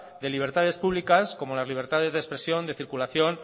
de libertades públicas como las libertades de expresión de circulación